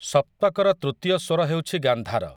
ସପ୍ତକର ତୃତୀୟ ସ୍ୱର ହେଉଛି ଗାନ୍ଧାର ।